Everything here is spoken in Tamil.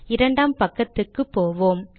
இரண்டாம் பக்கத்துக்கு போவோம்